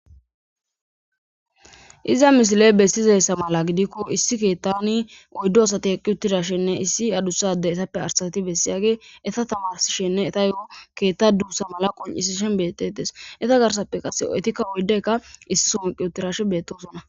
Iza misiley bessizessa mala gidikko issi keettani oyddo asati eqi uttidashenne issi adussade esappe arsati bessiyage esa tamaishenne eta yo7o keetta duussa mala qoncisishen bettetes eta garsappe qase oetikka oyddeykka issi sonqi uttirashe beettosona.